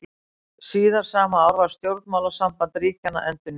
Síðar sama ár var stjórnmálasamband ríkjanna endurnýjað.